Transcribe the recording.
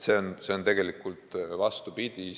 Nii et see on tegelikult vastupidi.